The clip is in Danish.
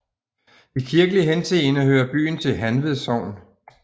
I kirkelig henseende hører byen til Hanved Sogn